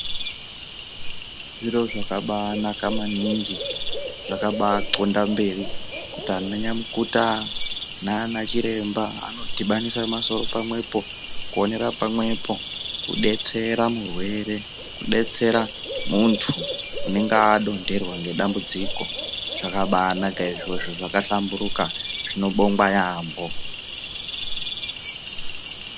Zviro zvakabaanaka maningi zvakabaqonda mberi kuti nananyamukuta naana chiremba anodhibanise misoro pamwepo kuonera pamwepo kudetsera murwere, kudetsera munthu unenge adontherwa ngadambudziko. Zvakabaanaka izvozvo zvakabaahlamburuka zvinobongwa yaampho.